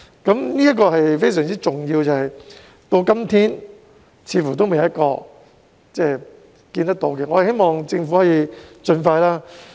這是非常重要的，但到今天似乎仍未有答案，我希望政府可以盡快處理。